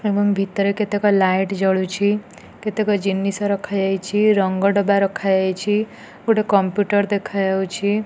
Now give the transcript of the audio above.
ଏବଂ ଭିତରେ କେତେକ ଲାଇଟ୍ ଜଳୁଛି କେତେକ ଜିନିଷ ରଖାଯାଇଛି ରଙ୍ଗ ଡବା ରଖାଯାଇଛି ଗୋଟେ କମ୍ପ୍ୟୁଟର ଦେଖାଯାଉଛି।